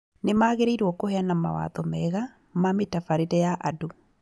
Nĩmagĩrĩirwo kũheana mawatho mega ma mĩtabarĩre ya andũ